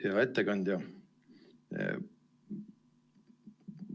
Hea ettekandja!